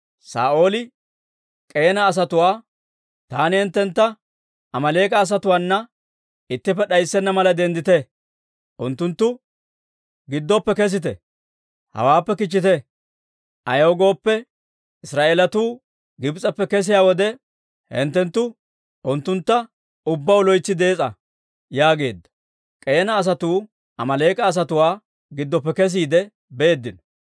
Saa'ooli K'eena asatuwaa, «Taani hinttentta Amaaleek'a asatuwaana ittippe d'ayssenna mala, denddite! unttunttu giddoppe kesite! Hawaappe kichchite! Ayaw gooppe, Israa'eelatuu Gibs'eppe kesiyaa wode, hinttenttu unttuntta ubbaw loytsi dees'a» yaageedda. K'eena asatuu Amaaleek'a asatuwaa giddoppe kesiide beeddino.